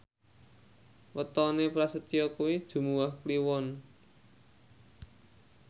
wetone Prasetyo kuwi Jumuwah Kliwon